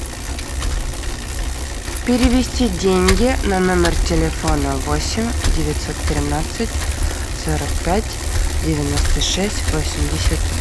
перевести деньги на номер телефона восемь девятьсот тринадцать сорок пять девяносто шесть восемьдесят